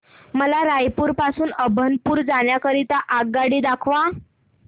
मला रायपुर पासून अभनपुर जाण्या करीता आगगाडी दाखवा